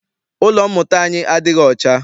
Ụlọ mmụta anyi adịghị ọcha.